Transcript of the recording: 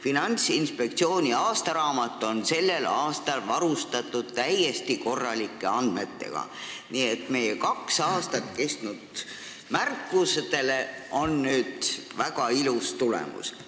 Finantsinspektsiooni aastaraamat on sellel aastal varustatud täiesti korralike andmetega, nii et meie kaks aastat kestnud märkustel on nüüd väga ilus tulemus.